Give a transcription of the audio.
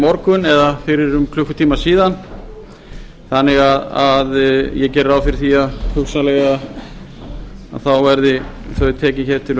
morgun eða fyrir um klukkutíma síðan þannig að ég geri ráð fyrir því að hugsanlega verði þau tekin til